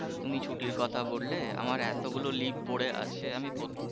তুমি ছুটির কথা বললে আমার এতো গুলো leave পরে আছে আমি